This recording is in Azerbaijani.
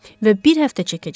Və bir həftə çəkəcək.